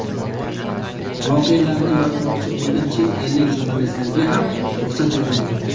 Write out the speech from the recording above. Voqealarni yoritmoqchi bo‘lgan chet ellik jurnalistlarga ham ruxsat berilmagan.